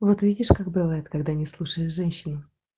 вот видишь как бывает когда не слушаешь женщине